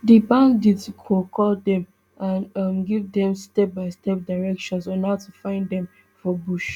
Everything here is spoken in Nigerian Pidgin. di bandit go call dem and um give dem stepbystep directions on how to find dem for bush